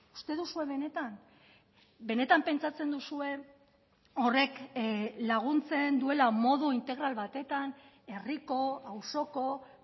uste duzue benetan benetan pentsatzen duzue horrek laguntzen duela modu integral batetan herriko auzoko